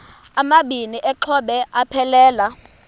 amabini exhobe aphelela